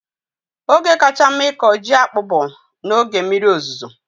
Oge kacha mma ịkọ ji akpu bụ n'oge mmiri ozuzo